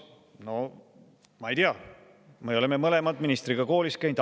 No ma ei tea, me oleme mõlemad ministriga koolis käinud.